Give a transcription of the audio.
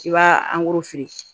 I b'a